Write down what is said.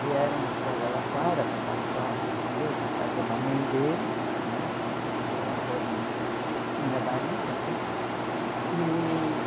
Vieram para Araraquara para passar uns dias na casa da mãe dele né, do avô do do meu marido até e.